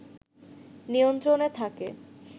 নিয়ন্ত্রণে থাকে